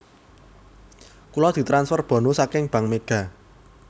Kulo ditransfer bonus saking Bank Mega